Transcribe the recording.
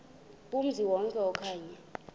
kumzi wonke okanye